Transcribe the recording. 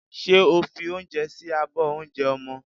Ṣé o fi oúnjẹ sí abọ́ oúnjẹ ọmọ?